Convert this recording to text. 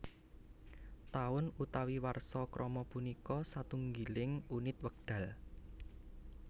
Taun utawi warsa krama punika satunggiling unit wekdal